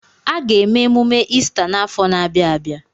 Aga eme emume Ista n'afọ na-abịa abịa.